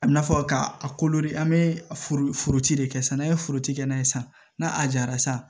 A bi na fɔ ka a kolo de an be foroti de kɛ sa n'a ye foro ti kɛ n'a ye san na a jara sa